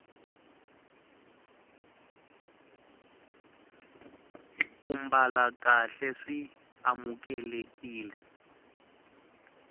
ku mbala kahle swi amukelekile